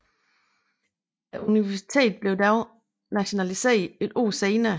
Universitet blev dog nationaliseret et år senere